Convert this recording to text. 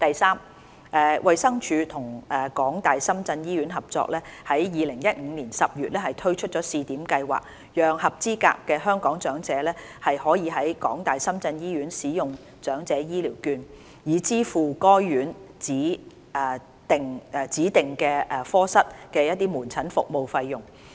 三衞生署與港大深圳醫院合作，於2015年10月推出試點計劃，讓合資格的香港長者可以在港大深圳醫院使用長者醫療券，以支付該院指定科室的門診服務費用。